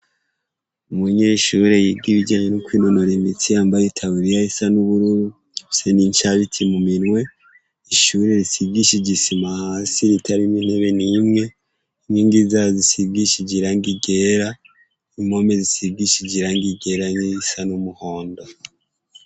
Umunyeshuri yiga bijanye nivyo kwinonora imitsi yambaye itaburiya isa n'ubururu afise n'incabiti mu minwe, ishuri risigijishije isima hasi ritarimwo intebe nimwe, inkingi zaho zisigishije irangi ryera, impome zishigishije irangi ryera nirisa n'umuhondo.